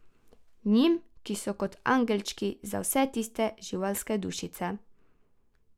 Njim, ki so kot angelčki za vse tiste živalske dušice.